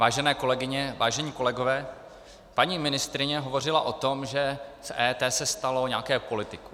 Vážené kolegyně, vážení kolegové, paní ministryně hovořila o tom, že z EET se stalo nějaké politikum.